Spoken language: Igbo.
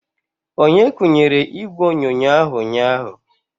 Onye kunyere ígwè onyonyo ahụ ụnyaahụ?